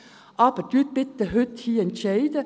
Aber entscheiden Sie bitte heute und hier.